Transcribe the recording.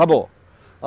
Acabou.